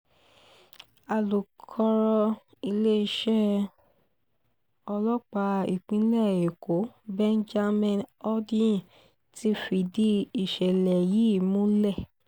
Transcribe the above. alùkọrọ iléeṣẹ́ ọlọ́pàá ìpínlẹ̀ èkó benjamin hondyin ti fìdí ìṣẹ̀lẹ̀ yìí múlẹ̀